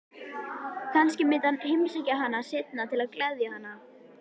Kannski myndi hann heimsækja hana seinna til að gleðja hana.